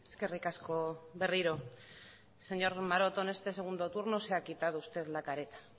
eskerrik asko berriro señor maroto en este segundo turno se ha quitado usted la careta